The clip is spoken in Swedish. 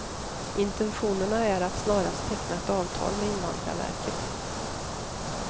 Intentionerna är att snarast teckna ett avtal med invandrarverket.